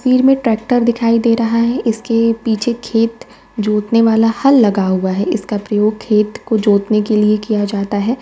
Field में tractor दिखाई दे रहा है इसके पीछे खेत जोतने वाला हल लगा हुआ है | इसका प्रयोग खेत को जोतने के लिए किया जाता है।